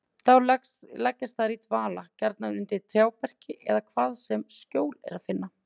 Þá leggjast þær í dvala, gjarnan undir trjáberki eða hvar sem skjól er að finna.